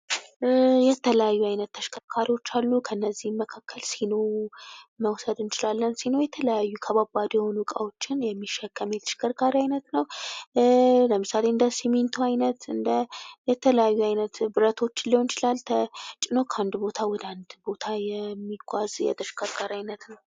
የተለያዩ አይነት ተሽከርካሪዎች አሉ ። ከእነዚህም መካከል ሲኖ መውሰድ እንችላለን ። ሲኖ የተለያዩ ከባባድ የሆኑ እቃዎችን የሚሸከም የተሽከርካሪ አይነት ነው ።ለምሳሌ እንደ ስሚንቶ ዓይነት ፣ እንደ የተለያዩ አይነት ብረቶችን ሊሆን ይችላል ተጭኖ ከአንድ ቦታ ወደ አንድ ቦታ የሚጓዝ የተሽከርካሪ አይነት ነው ።